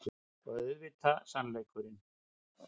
Og auðvitað sannleikurinn.